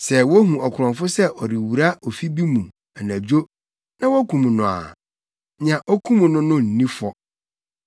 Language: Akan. “Sɛ wohu ɔkorɔmfo sɛ ɔrewura ofi bi mu anadwo na wokum no a, nea okum no no nni fɔ.